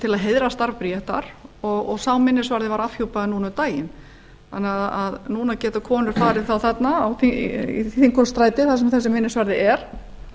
til að heiðra starf bríetar og sá minnisvarði var afhjúpaður núna um daginn þannig að núna geta konur farið þangað í þingholtsstræti þar sem þessi minnisvarði er